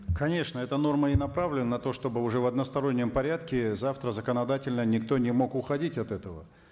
конечно эта норма и направлена на то чтобы уже в одностороннем порядке завтра законодательно никто не мог уходить от этого